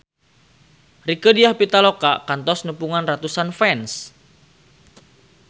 Rieke Diah Pitaloka kantos nepungan ratusan fans